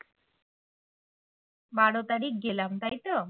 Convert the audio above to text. বারো তারিখ গেলাম তাইতো?